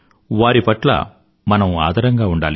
వారి పట్ల మనం ఆదరంగా ఉండాలి